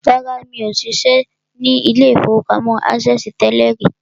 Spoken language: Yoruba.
Rárá, mi ò ṣiṣẹ́ ní ilé-ìfowópamọ́ access tẹ́lẹ̀ rí